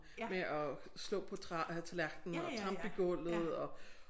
Med at slå på træ øh tallerkenen og trampe i gulvet og